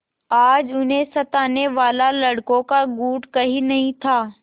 आज उन्हें सताने वाला लड़कों का गुट कहीं नहीं था